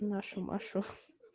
нашу машу